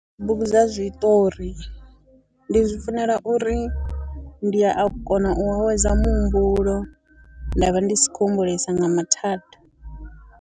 Bugu dza zwiṱori, ndi zwi funela uri ndi a kona u awedza muhumbulo, nda vha ndi si khou humbulesa nga mathada.